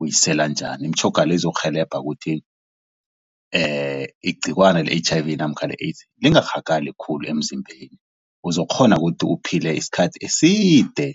uyisela njani imitjhoga le izokurhelebha ukuthi igciwani le-H_I_V namkha le-AIDS lingarhagalI khulu emzimbeni uzokukghona ukuthi uphile isikhathi eside.